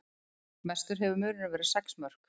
Mestur hefur munurinn verið sex mörk